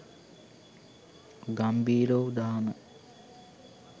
ගම්ඹීර වූ දහම